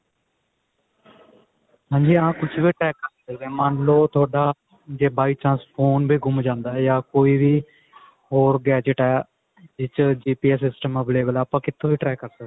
ਹਾਂਜੀ ਹਾਂ ਕੁਛ ਵੀ track ਕਰ ਸਕਦੇ ਹਾਂ ਮੰਨਲੋ ਥੋਡਾ ਜੇ by chance phone ਵੀ ਗੁੰਮ ਜਾਂਦਾ ਯਾ ਕੋਈ ਵੀ ਹੋਰ gadget ਹੈ ਜਿਹਦੇ ਵਿੱਚ GPS system available ਹੈ ਆਪਾਂ ਕਿੱਥੋਂ ਵੀ track ਕਰ ਸਕਦੇ ਹਾਂ